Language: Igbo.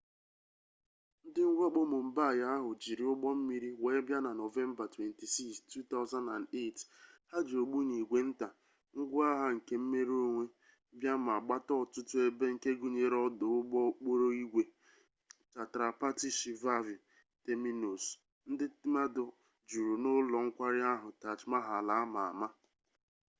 ndị mwakpọ mumbaị ahụ jiri ụgbọmmiri wee bịa na nọvemba 26 2008 ha ji ogbunigwe nta ngwaagha kemmerenonwe bịa ma gbata ọtụtụ ebe nke gụnyere ọdụ ụgbọokporoigwe chhatrapati shivaji terminus ndi mmadu juru na ụlọ nkwari akụ taj mahal ama ama